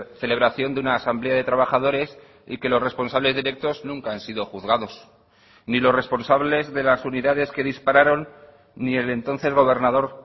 celebración de una asamblea de trabajadores y que los responsables directos nunca han sido juzgados ni los responsables de las unidades que dispararon ni el entonces gobernador